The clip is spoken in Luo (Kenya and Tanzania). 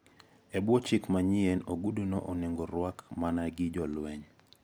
E bwo chik manyien oguduno onego rwak mana gi jolweny.